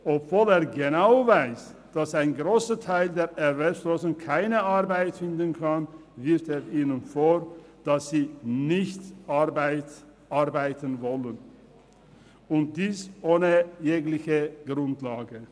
Obwohl er genau weiss, dass ein grosser Teil der Erwerbslosen keine Arbeit finden kann, wirft er ihnen vor, dass sie nicht arbeiten wollen – und dies ohne jegliche Grundlage.